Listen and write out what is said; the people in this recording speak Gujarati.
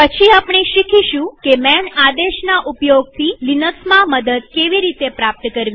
પછી આપણે શીખીશું કે માન આદેશના ઉપયોગથી લિનક્સમાં મદદ કેવી રીતે પ્રાપ્ત કરવી